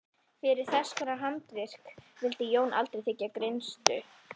Fyrir þesskonar handarvik vildi Jón aldrei þiggja greiðslu.